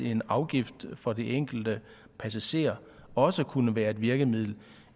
en afgift for den enkelte passager også kunne være et virkemiddel